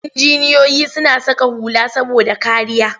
Injiniyoyi suna saka hula saboda kariya.